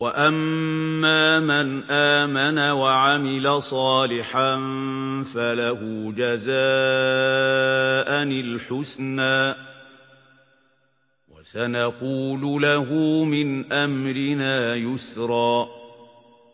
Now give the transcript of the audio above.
وَأَمَّا مَنْ آمَنَ وَعَمِلَ صَالِحًا فَلَهُ جَزَاءً الْحُسْنَىٰ ۖ وَسَنَقُولُ لَهُ مِنْ أَمْرِنَا يُسْرًا